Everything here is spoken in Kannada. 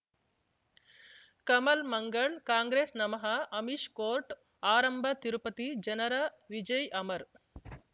ಕಮಲ್ ಮಂಗಳ್ ಕಾಂಗ್ರೆಸ್ ನಮಃ ಅಮಿಷ್ ಕೋರ್ಟ್ ಆರಂಭ ತಿರುಪತಿ ಜನರ ವಿಜಯ್ ಅಮರ್